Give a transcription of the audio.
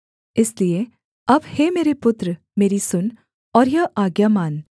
इसलिए अब हे मेरे पुत्र मेरी सुन और यह आज्ञा मान